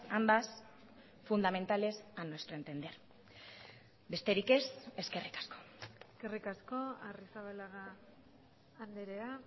ambas fundamentales a nuestro entender besterik ez eskerrik asko eskerrik asko arrizabalaga andrea